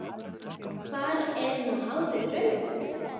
Hvar er nú hárið rauða?